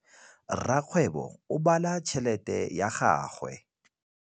Rakgwêbô o bala tšheletê ya gagwe.